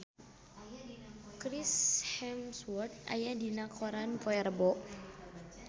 Chris Hemsworth aya dina koran poe Rebo